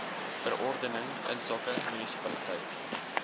verordening insake munisipaliteit